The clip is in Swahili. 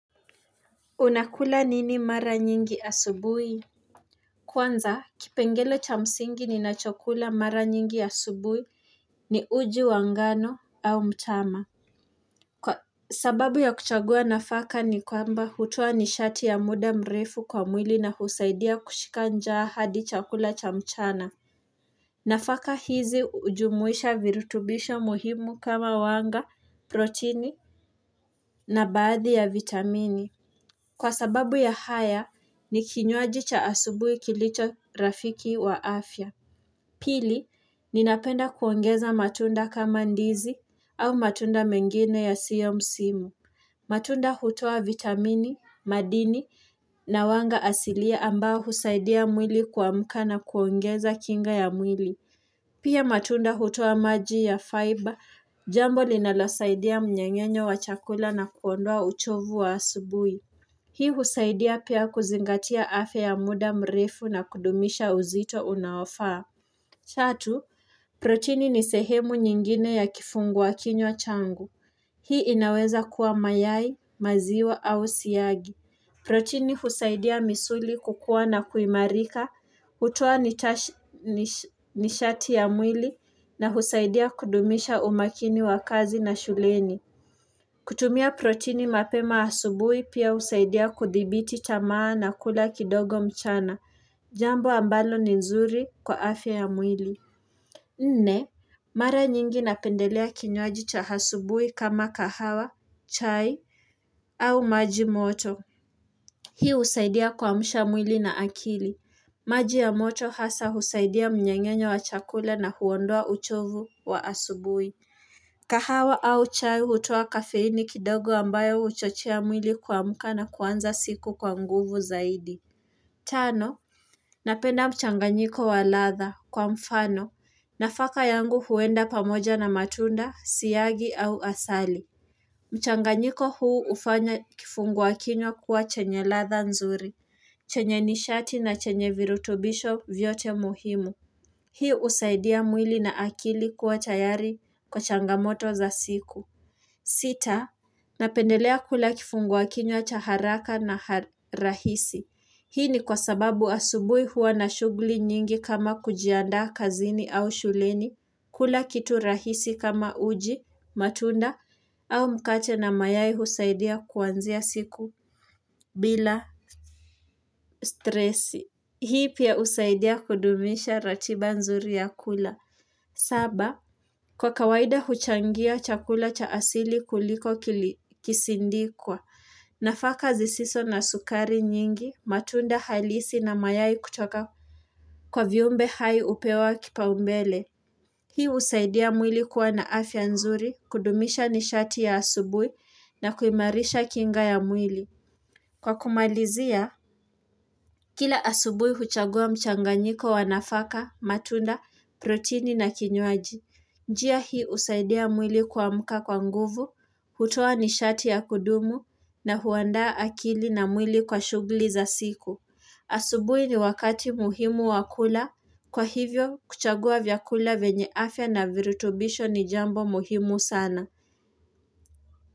Unakula nini mara nyingi asubuhi? Kwanza kipengele cha msingi ninachokula mara nyingi asubuhi ni uji wa ngano au mtama sababu ya kuchagua nafaka ni kwamba hutoa nishati ya muda mrefu kwa mwili na husaidia kushika njaa hadi chakula cha mchana nafaka hizi hujumuisha virutubisho muhimu kama wanga proteini na baadhi ya vitamini. Kwa sababu ya haya, ni kinywaji cha asubui kilicho rafiki wa afya. Pili, ninapenda kuongeza matunda kama ndizi au matunda mengine ya sio msimu. Matunda hutoa vitamini, madini na wanga asilia ambao husaidia mwili kuamka na kuongeza kinga ya mwili. Pia matunda hutoa maji ya faiba, jambo linalosaidia mnyeng'enyo wa chakula na kuondoa uchovu wa asubuhi. Hii husaidia pia kuzingatia afya ya muda mrefu na kudumisha uzito unaofaa. Tatu, protini ni sehemu nyingine ya kifungua kinywa changu. Hii inaweza kuwa mayai, maziwa au siyagi. Protini husaidia misuli kukua na kuimarika, hutoa nishati ya mwili na husaidia kudumisha umakini wa kazi na shuleni. Kutumia protini mapema asubuhi pia husaidia kuthibiti tamaa na kula kidogo mchana. Jambo ambalo ni nzuri kwa afya ya mwili. Nne, mara nyingi napendelea kinywaji cha asubuhi kama kahawa, chai au maji moto. Hii husaidia kuamsha mwili na akili. Maji ya moto hasa husaidia mnyeng'enyo wa chakula na huondoa uchovu wa asubuhi. Kahawa au chai hutoa kafeini kidogo ambayo huchochea mwili kumka na kuanza siku kwa nguvu zaidi Tano, Napenda mchanganyiko wa ladha kwa mfano, nafaka yangu huenda pamoja na matunda siyagi au asali mchanganyiko huu hufanya kifungua kinywa kuwa chenye ladha nzuri chenye nishati na chenye virutubisho vyote muhimu Hii husaidia mwili na akili kuwa tayari kwa changamoto za siku. Sita, napendelea kula kifungua kinywa cha haraka na rahisi. Hii ni kwa sababu asubui huwa na shughui nyingi kama kujiandaa kazini au shuleni. Kula kitu rahisi kama uji, matunda au mkate na mayai husaidia kuanzia siku bila stresi. Hii pia usaidia kudumisha ratiba nzuri ya kula. Saba, kwa kawaida huchangia chakula cha asili kuliko kisindikwa, nafaka zisiso na sukari nyingi, matunda halisi na mayai kutoka kwa viumbe hai hupewa kipaumbele. Hii husaidia mwili kuwa na afya nzuri, kudumisha nishati ya asubui na kuimarisha kinga ya mwili. Kwa kumalizia, kila asubui huchagua mchanganyiko wa nafaka, matunda, protini na kinywaji. Njia hii husaidia mwili kuamka kwa nguvu, hutoa nishati ya kudumu na huandaa akili na mwili kwa shughuli za siku. Asubui ni wakati muhimu wa kula, kwa hivyo kuchagua vyakula vyenye afya na virutubisho ni jambo muhimu sana.